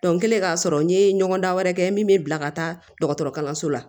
n kɛlen k'a sɔrɔ n ye ɲɔgɔndan wɛrɛ kɛ n ye min bɛ bila ka taa dɔgɔtɔrɔkalanso la